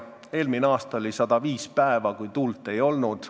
Eelmine aasta oli 105 päeva, kui tuult ei olnud.